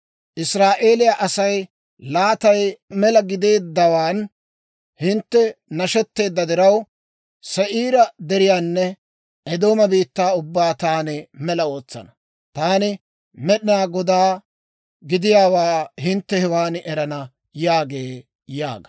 Israa'eeliyaa asaa laatay mela gideeddawaan hintte nashetteedda diraw, Se'iira Deriyaanne Eedooma biittaa ubbaa taani mela ootsana. Taani Med'inaa Godaa gidiyaawaa hintte hewan erana yaagee yaaga.»